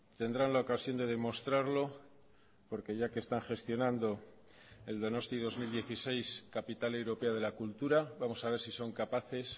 tendrán la ocasión de demostrarlo porque ya que están gestionando el donostia dos mil dieciséis capital europea de la cultura vamos a ver si son capaces